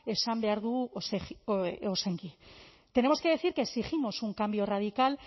esan behar dugu ozenki tenemos que decir que exigimos un cambio radical